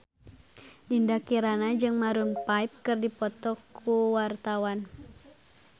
Dinda Kirana jeung Maroon 5 keur dipoto ku wartawan